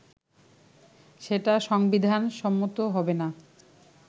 সেটা সংবিধান সম্মত হবে না